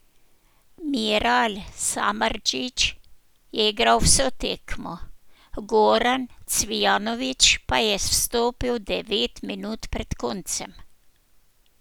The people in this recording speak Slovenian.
Miral Samardžić je igral vso tekmo, Goran Cvijanović pa je vstopil devet minut pred koncem.